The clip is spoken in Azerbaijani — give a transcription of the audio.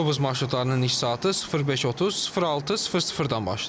Avtobus marşrutlarının iş saatı 05:30-06:00-dan başlayır.